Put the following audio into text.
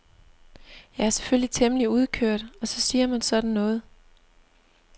Jeg er selvfølgelig temmelig udkørt og så siger man sådan noget.